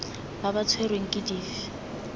ba ba tshwerweng ke dife